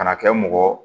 Kana kɛ mɔgɔ